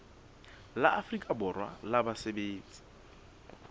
la afrika borwa la basebetsi